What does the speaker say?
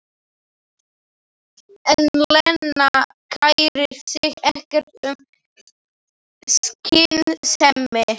En Lena kærir sig ekkert um skynsemi.